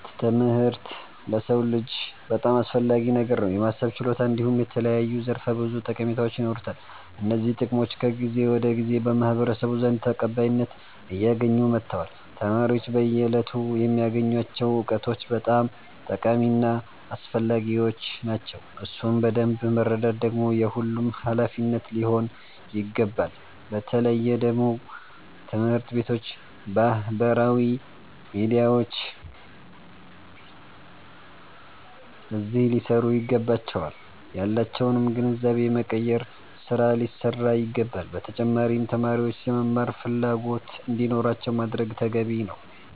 ትምህርት ለሰዉ ልጅ በጣም አስፈላጊ ነገር ነዉ። የማሰብ ችሎታ እንዲሁም የተለያዩ ዘርፈ ብዙ ጠቀሜታዎች ይኖሩታል። እነዚህ ጥቅሞች ከጊዜ ወደ ጊዜ በማህበረሰቡ ዘንድ ተቀባይነት አያገኙ መተዋል። ተማሪዎች በየእለቱ የሚያገኙቸዉ እዉቀቶች በጣም ጠቃሚ እና አስፈላጊዎች ናቸዉ። እሱን በደምብ መረዳት ደግሞ የሁሉም ሃላፊነት ሊሆን ይገባል። በተለየ ደግሞ ትምህርት ቤቶች ባህበራዊ ሚዲያዎች አዚህ ሊሰሩ ይገባቸዋል። ያላቸዉንም ግንዛቤ የመቀየር ስራ ሊሰራ ይገባዋል። በተጫማሪም ተማሪዎች የመማር ፈላጎት እንዲኖራቸዉ ማድረግ ተገቢ ነዉ።